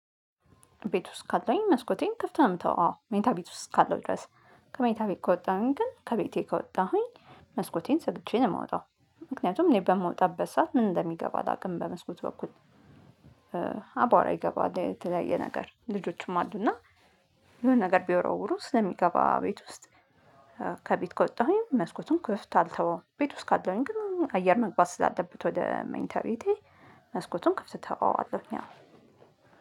ቤት ውስጥ ካለሁኝ መስኮቴን ከፍተን አምተው አዎ መኝታ ቤት ውስጥ ካለሁኝ ድረስ ከመኝታ ቤት ከወጣሁኝ ግን ከቤቴ ከወጣሁኝ መስኮቴን ዘግቼ ነው የምወጣው ምክንያቱም እኔ በምወጣበት ሰዓት ምን እንደሚገባ አላውቅም በመስኮት በኩል። አባወራ ይገባል የተለያየ ነገር ልጆችም አሉና የሆነ ነገር ቢወራውሩ ስለሚገባ ቤት ውስጥ። ከቤት ከወጣሁኝ መስኮቱን ክፍት አልተወውም። ቤት ውስጥ ካለሁኝ ግን አየር መግባት ስላለበት ወደ መኝታ ቤቴ። መስኮቱን ክፍት እቶወዋለሁ ያው